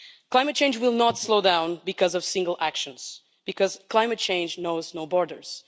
Climate change will not slow down because of single actions, because climate change knows no borders.